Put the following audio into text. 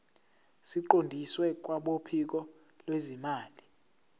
siqondiswe kwabophiko lwezimali